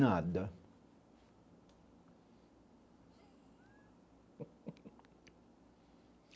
Nada.